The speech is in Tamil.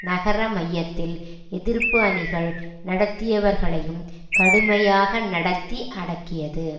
நகர மையத்தில் எதிர்ப்பு அணிகள் நடத்தியவர்களையும் கடுமையாக நடத்தி அடக்கியது